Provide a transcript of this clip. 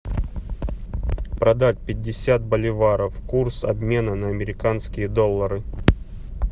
продать пятьдесят боливаров курс обмена на американские доллары